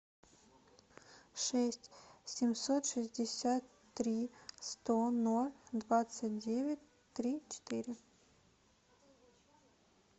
шесть семьсот шестьдесят три сто ноль двадцать девять три четыре